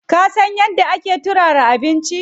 Ka san yadda ake turara abinci?